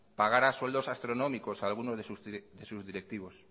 pagara sueldos astronómicos a alguno de sus directivos